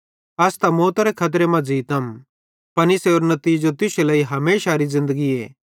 अस त मौतरे खतरे मां ज़ीतम पन इसेरो नितीजो तुश्शे लेइ हमेशारी ज़िन्दगीए